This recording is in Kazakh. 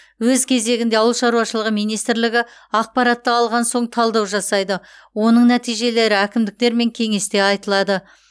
өз кезегінде ауыл шаруашылығы министрлігі ақпаратты алған соң талдау жасайды оның нәтижелері әкімдіктермен кеңесте айтылады